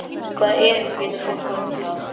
Hvaða erindi getur fólk átt hingað?